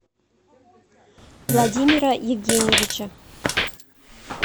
владимира евгеньевича